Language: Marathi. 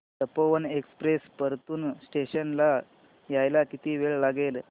तपोवन एक्सप्रेस परतूर स्टेशन ला यायला किती वेळ लागेल